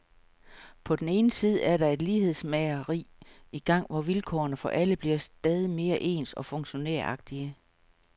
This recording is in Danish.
På den ene side er der et lighedsmageri i gang, hvor vilkårene for alle bliver stadig mere ens og funktionæragtige.